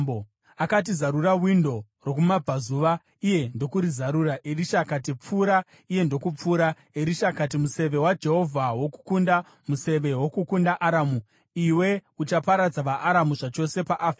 Akati, “Zarura windo rokumabvazuva,” iye ndokurizarura. Erisha akati, “Pfura!” iye ndokupfura. Erisha akati, “Museve waJehovha wokukunda, museve wokukunda Aramu! Iwe uchaparadza vaAramu zvachose paAfeki.”